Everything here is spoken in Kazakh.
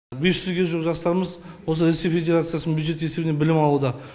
бес жүзге жуық жастарымыз осы ресей федерациясы бюджеті есебінен білім алуда